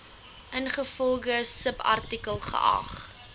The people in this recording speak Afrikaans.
ingevolge subartikel geag